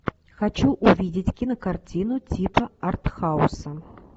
хочу увидеть кинокартину типа артхауса